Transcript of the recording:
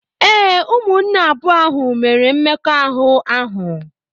Ee, ụmụnne abụọ ahụ mere mmekọahụ ahụ.